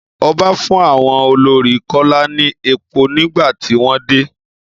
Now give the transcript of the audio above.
Ọba fún àwọn olórí kola ní èpò nígbà tí wọ́n dé.